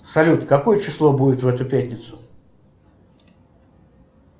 салют какое число будет в эту пятницу